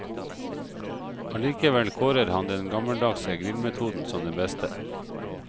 Allikevel kårer han den gammeldagse grillmetoden som den beste.